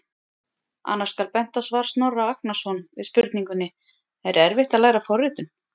Annars skal bent á svar Snorra Agnarsson við spurningunni: Er erfitt að læra forritun?